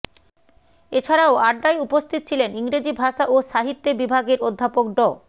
এছাড়াও আড্ডায় উপস্থিত ছিলেন ইংরেজি ভাষা ও সাহিত্যে বিভাগের অধ্যাপক ড